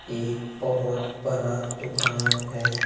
एक बहुत बड़ा दुकान है।